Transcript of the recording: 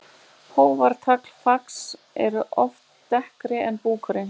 Hófar, tagl og fax eru oft dekkri en búkurinn.